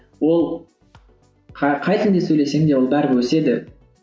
ол қай тілді сөйлесең де ол бәрібір өседі